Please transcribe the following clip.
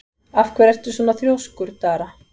Af hverju ertu svona þrjóskur, Dara?